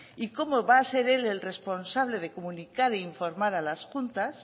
y cómo va a ser él el responsable de comunicar e informar a las juntas